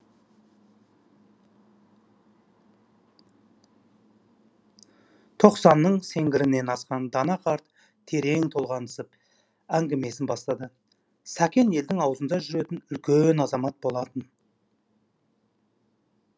тоқсанның сеңгірінен асқан дана қарт терең толғаныспен әңгімесін бастады сәкен елдің аузында жүретін үлкен азамат болатын